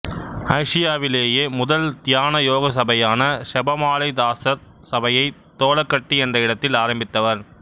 ஆசியாவிலேயே முதல் தியான யோகசபையான செபமாலைத்தாசர் சபையை தோலகட்டி என்ற இடத்தில் ஆரம்பித்தவர்